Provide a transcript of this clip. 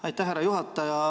Aitäh, härra juhataja!